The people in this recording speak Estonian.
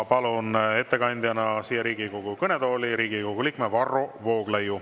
Palun ettekandjana siia Riigikogu kõnetooli Riigikogu liikme Varro Vooglaiu.